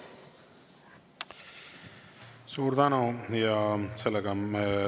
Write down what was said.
Suur tänu!